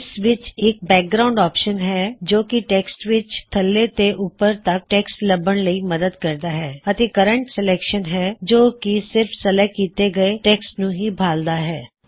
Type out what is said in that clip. ਇਸ ਵਿੱਚ ਇੱਕ ਬੈਕਵਰ੍ਡ ਆਪ੍ਸ਼ਨ ਹੈ ਜੋ ਕੀ ਟੈਕ੍ਸਟ ਵਿੱਚ ਥੱਲੇ ਤੋਂ ਉੱਪਰ ਤਕ ਟੇਕ੍ਸ੍ਟ ਲੱਭਣ ਵਿੱਚ ਮਦਦ ਕਰਦਾ ਹੇ ਅਤੇ ਕਰਨ੍ਟ ਸਲੇਕ੍ਸ਼ਨਹੈ ਜੋ ਕਿ ਸਿਰਫ ਸਲੇਕ੍ਟ ਕੀੱਤੇ ਗਏ ਟੈਕ੍ਸਟ ਨੂੰ ਹੀ ਭਾਲ਼ਦਾ ਹੈ